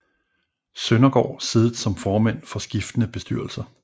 Søndergaard siddet som formænd for skiftende bestyrelser